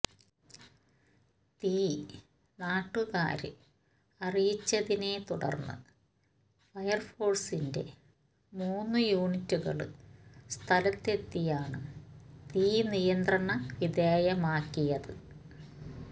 തീ നാട്ടുകാര് അറിയിച്ചതിനെത്തുടര്ന്ന് ഫയര്ഫോഴ്സിന്റെ മൂന്നു യൂണിറ്റുകള് സ്ഥലത്തെത്തിയാണ് തീ നിയന്ത്രണ വിധേയമാക്കിയത്